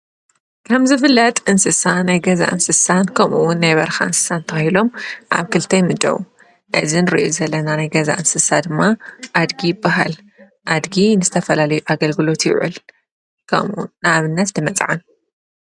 ካምዝፍላጥ እንስሳ ናይ ገዛ እንስሳን ከምውን ነይበርካ እንስሳን ተኸሎም ዓብ ክልቲ ይምደዉ እዝን ር ዘለና ናይ ገዛ እንስሳ ድማ ኣድጊ ይባሃል ኣድጊ ንዝተፈላለዩ ኣገልግሎ ይውዕል ከምኡ ናብነት ንመጽዓን